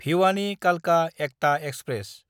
भिवानि–कालका Ekta express